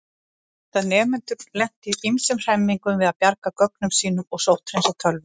Þá geta notendur lent í ýmsum hremmingum við að bjarga gögnunum sínum og sótthreinsa tölvuna.